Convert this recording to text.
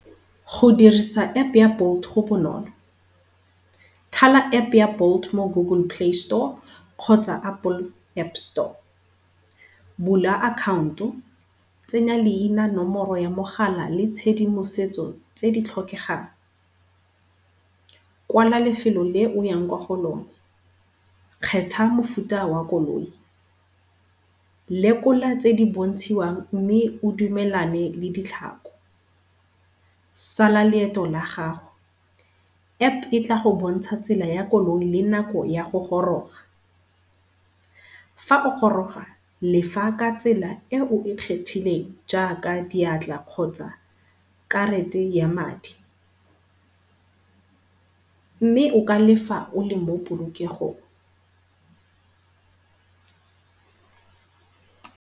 Go dirisa App-e ya Bolt go bonolo, thala App-e ya Bolt mo Google Play Store kgotsa Apple App Store. Bula account-o tsenya leina, nomoro ya mogala le tshedimosetso tse di tlhokegang. Kwala lefelo le oyang kwa go lona, kgetha mofuta wa koloi, lekola tse di bontshiwang mme o dumelane le ditlhako. Sala leeto la gago. App-e e tla go bontsha tsela ya koloi le nako ya go goroga. Fa o goroga lefa ka tsela e o e kgethileng jaaka diatla kgotsa karate ya madi mme o ka lefa o le mo polokegong.